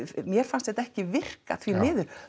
mér fannst þetta ekki virka því miður